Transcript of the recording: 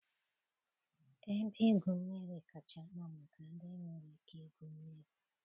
Ebe igwu mmiri kacha mma maka ndị nwere ike igwu mmiri.